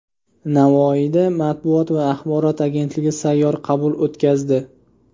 Navoiyda Matbuot va axborot agentligi sayyor qabul o‘tkazdi.